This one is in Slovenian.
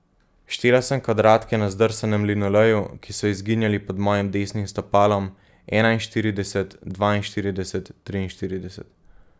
Štela sem kvadratke na zdrsanem linoleju, ki so izginjali pod mojim desnim stopalom, enainštirideset, dvainštirideset, triinštirideset.